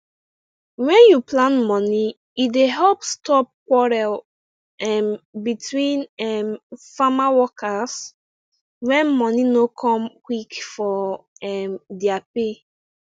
wen u plan moni e dey help stop quarrel um between um farm workers when money no come quick for um their pay